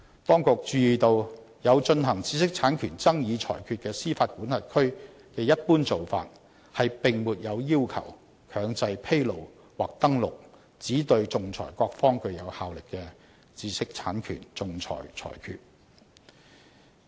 當局注意到有進行知識產權爭議裁決的司法管轄區的一般做法，並沒有要求強制披露或登錄只對仲裁各方具有效力的知識產權仲裁裁決。